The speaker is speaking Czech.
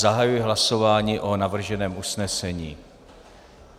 Zahajuji hlasování o navrženém usnesení.